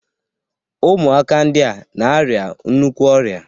Ụmụaka ndịa na-arịa nnukwu ọrịa